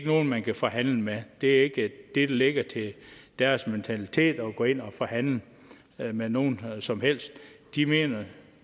nogen man kan forhandle med det det ligger ikke til deres mentalitet at gå ind og forhandle med nogen som helst de mener